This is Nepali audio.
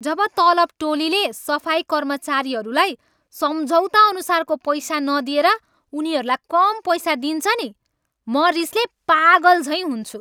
जब तलब टोलीले सफाई कर्मचारीहरूलाई सम्झौताअनुसारको पैसा नदिएर उनीहरूलाई कम पैसा दिन्छ नि म रिसले पागलझैँ हुन्छु।